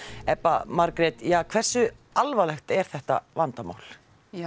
Ebba Margrét hversu alvarlegt er þetta vandamál